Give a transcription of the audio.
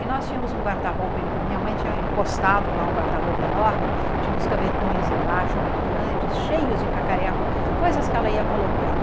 E nós tínhamos um guarda-roupa, e minha mãe tinha encostado lá um guarda-roupa enorme, tinha uns gavetões embaixo muito grandes, cheios de cacareco, coisas que ela ia colocando.